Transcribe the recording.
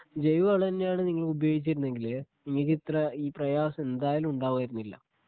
ജൈവവളം തന്നെയാണ് നിങ്ങൾ ഉപയോഗിക്കുന്നതെങ്കില് നിങ്ങൾക്കിത്ര ഈ പ്രയാസം എന്തായാലും ഉണ്ടാകുമായിരുന്നില്ല